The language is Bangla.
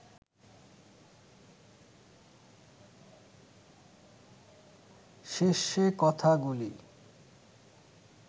শেষে কথাগুলি